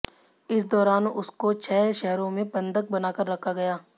इस दौरान उसको छह शहरो में बंधक बनाकर रखा गया